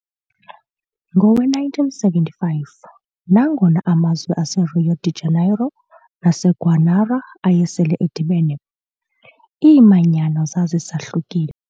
Ngowe-1975, nangona amazwe aseRio de Janeiro naseGuanara ayesele edibene, iimanyano zazisahlukile.